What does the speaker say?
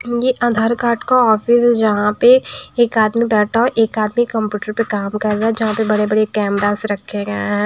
ये आधार कार्ड का ऑफिस है जहाँ पे एक आदमी बैठा हैएक आदमी कंप्यूटर पर काम कर रहा है जहाँ पे बड़े-बड़े कैमरास रखे गए हैं।